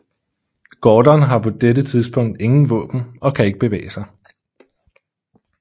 Gordon har på dette tidspunkt ingen våben og kan ikke bevæge sig